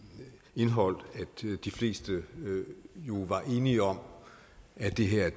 indhold at de fleste jo var enige om at det her